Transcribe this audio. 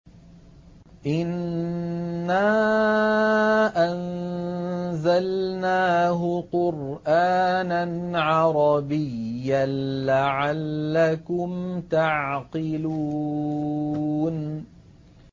إِنَّا أَنزَلْنَاهُ قُرْآنًا عَرَبِيًّا لَّعَلَّكُمْ تَعْقِلُونَ